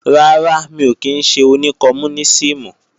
Rárá, mi ò kí ńṣe oní kọmúnísìmù